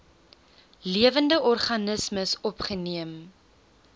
lewende organismes opgeneem